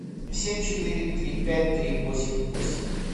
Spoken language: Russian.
семь четыре три пять три восемь восемь